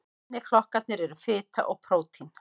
Hinir flokkarnir eru fita og prótín.